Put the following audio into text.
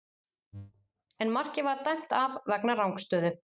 En markið var dæmt af vegna rangstöðu.